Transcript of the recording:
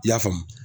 I y'a faamu